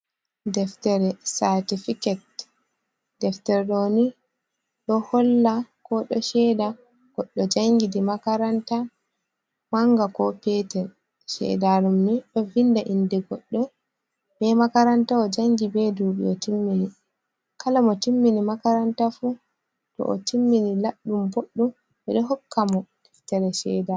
Deftere saatifiket deftere ɗoni, ɗo holla ko ɗo ceeda goɗɗo janngi di makaranta manga, ko peetel, ceeda ɗum ni, ɗo vinnda innde goɗɗo, be makaranta o janngi, be duuɓi o timmini. Kala mo timmini makaranta fu, to o timmini laaɓɗum, boɗɗum, ɓe ɗo hokka mo deftere ceeda.